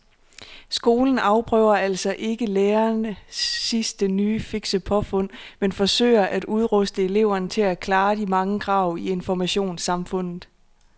Skolen afprøver altså ikke lærernes sidste nye fikse påfund men forsøger at udruste eleverne til at klare de mange krav i informationssamfundet.